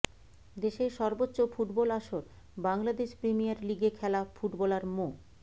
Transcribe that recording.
দেশের সর্বোচ্চ ফুটবল আসর বাংলাদেশ প্রিমিয়ার লিগে খেলা ফুটবলার মো